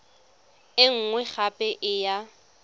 e nngwe gape e ya